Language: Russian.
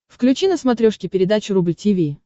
включи на смотрешке передачу рубль ти ви